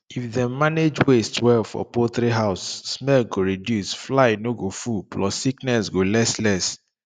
if dem manage waste well for poultry house smell go reduce fly no go full plus sickness go less less